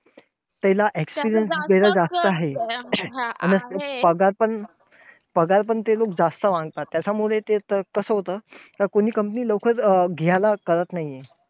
त्याला experience त्याला जास्त आहे. अन पगार पण पगार पण ते खूप जास्त मागतात, त्याच्यामुळे ते कसं होतं, का कोणी company पण लवकर घ्यायला करत नाही.